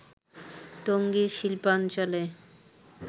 টঙ্গীর শিল্পাঞ্চলে